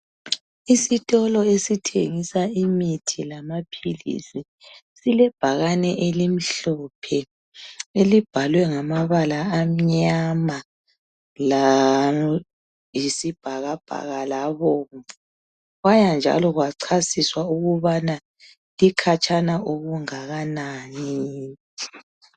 Isitolo esithengisa imithi lamaphilisi silebhakane elimhlophe, elibhalwe ngamabala amnyama layisibhakabhaka labomvu. Kwaya njalo kwachasiswa ukubana likhatshana okungakanani.